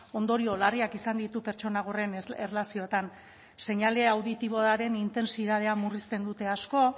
ondorio larriak izan ditu pertsona gorren erlazioetan seinale auditiboaren intentsitatea murrizten dute asko